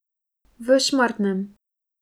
V Šmartnem.